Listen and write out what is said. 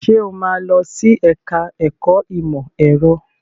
Sọ ma lọ sí ẹ̀ká ẹ̀kọ́ ìmọ̀ ẹ̀rọ?